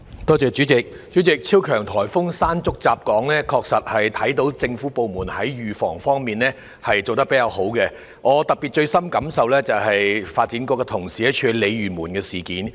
代理主席，超強颱風"山竹"襲港時，確實看到政府部門在預防方面做得較佳，我最深感受的是發展局同事處理鯉魚門的事。